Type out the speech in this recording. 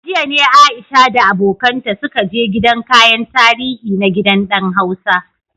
A jiya ne Aisha da abokanta suka je gidan kayan tarihi na Gidan Dan Hausa.